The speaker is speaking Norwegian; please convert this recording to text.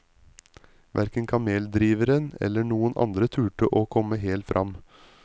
Hverken kameldriveren eller noen andre turde å komme helt fram.